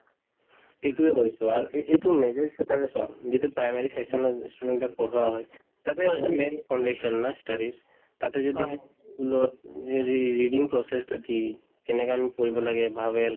এইটোয়ে কৈছো আৰু এই~ এইটো চোৱা যিটো primary section ত student ক পঢ়োৱা হয় তাতে সেইটো main condition না study ৰ তাতে যদি school ত যদি reading process তো কি কেনেকা আমি পঢ়িব লাগে vowel